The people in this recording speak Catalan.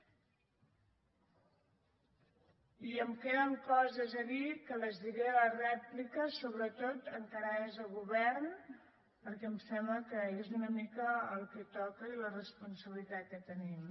i em queden coses a dir que les diré a la rèplica sobretot encarades al govern perquè em sembla que és una mica el que toca i la responsabilitat que tenim